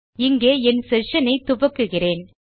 இங்கே என் செஷன் ஐ துவக்குகிறேன்